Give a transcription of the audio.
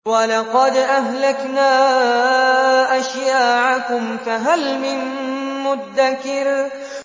وَلَقَدْ أَهْلَكْنَا أَشْيَاعَكُمْ فَهَلْ مِن مُّدَّكِرٍ